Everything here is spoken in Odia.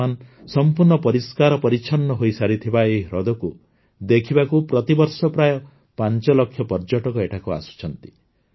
ବର୍ତ୍ତମାନ ସଂପୂର୍ଣ୍ଣ ପରିଷ୍କାର ପରିଚ୍ଛନ୍ନ ହୋଇସାରିଥିବା ଏହି ହ୍ରଦକୁ ଦେଖିବାକୁ ପ୍ରତିବର୍ଷ ପ୍ରାୟ ୫ ଲକ୍ଷ ପର୍ଯ୍ୟଟକ ଏଠାକୁ ଆସୁଛନ୍ତି